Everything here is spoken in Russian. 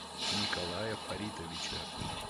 николая фаритовича